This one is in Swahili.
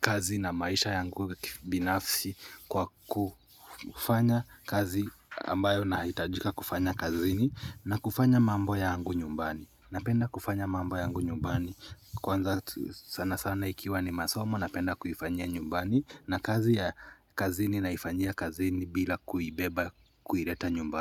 kazi na maisha yangu binafsi kwa kufanya kazi ambayo nahitajika kufanya kazini na kufanya mambo yangu nyumbani napenda kufanya mambo yangu nyumbani kwanza sana sana ikiwa ni masomo napenda kuifanyia nyumbani na kazi ya kazini naifanyia kazini bila kuibeba kuileta nyumbani.